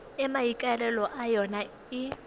e maikaelelo a yona e